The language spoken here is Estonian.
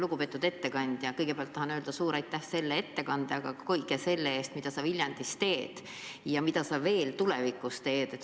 Lugupeetud ettekandja, kõigepealt tahan öelda suur aitäh selle ettekande eest, aga ka kõige selle eest, mida sa Viljandis oled teinud ja mida sa veel tulevikus teed!